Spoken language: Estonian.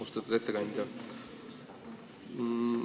Austatud ettekandja!